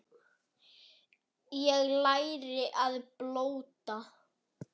Ég lærði að blóta.